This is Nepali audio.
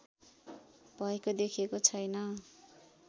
भएको देखिएको छैन